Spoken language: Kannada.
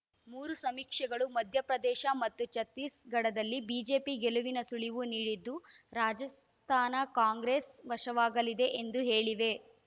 ಮೂರೂ ಸಮೀಕ್ಷೆಗಳು ಮಧ್ಯಪ್ರದೇಶ ಮತ್ತು ಛತ್ತೀಸ್‌ಗಢದಲ್ಲಿ ಬಿಜೆಪಿ ಗೆಲುವಿನ ಸುಳಿವು ನೀಡಿದ್ದು ರಾಜಸ್ಥಾನ ಕಾಂಗ್ರೆಸ್‌ ವಶವಾಗಲಿದೆ ಎಂದು ಹೇಳಿವೆ